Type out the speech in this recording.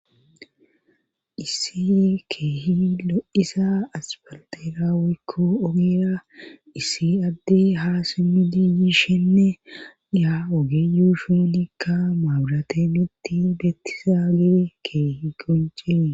issi keehi lo7isa asfaltera woykko ogeera issi adde haa simmidi yiishenne ya ogeyu shuunikka maaburatenitti beettizaage keehi qonce